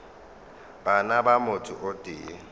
bana ba motho o tee